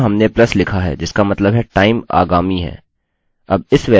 यहाँ हमने प्लसplus लिखा है जिसका मतलब है time आगामी है